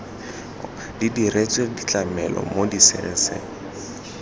di diretswe tlamelo mo diserising